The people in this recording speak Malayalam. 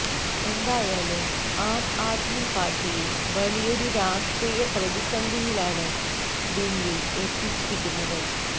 എന്തായാലും ആം ആദ്മി പാര്ട്ടിയെ വലിയൊരു രാഷ്ട്രീയ പ്രതിസന്ധിയിലാണ് ബിന്നി എത്തിച്ചിരിക്കുന്നത്